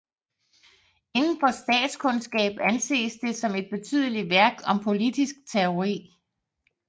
Indenfor statskundskab anses det som et betydelig værk om politisk teori